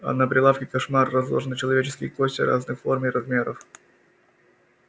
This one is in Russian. а на прилавке кошмар разложены человеческие кости разных форм и размеров